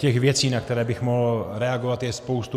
Těch věcí, na které bych mohl reagovat, je spousta.